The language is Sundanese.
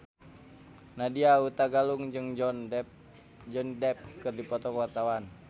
Nadya Hutagalung jeung Johnny Depp keur dipoto ku wartawan